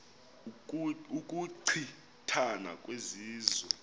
ukuchi thana kwezizwe